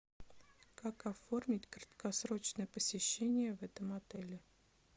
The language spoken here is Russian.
как оформить краткосрочное посещение в этом отеле